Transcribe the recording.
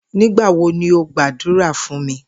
Nigbawo ni o gbadura fun mi?